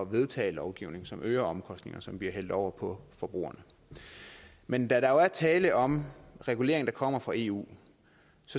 vedtage lovgivning som øger omkostningerne som bliver hældt over på forbrugerne men da der jo er tale om regulering der kommer fra eu